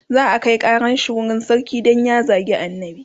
za'a Kai ƙaran shi wurin sarki Dan ya zagi annabi